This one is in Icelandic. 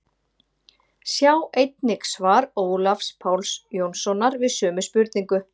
Sjá einnig svar Ólafs Páls Jónssonar við sömu spurningu.